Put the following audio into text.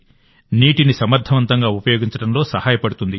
నీటిని సమర్థవంతంగా ఉపయోగించడంలో సహాయపడుతుంది